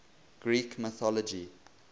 greek mythology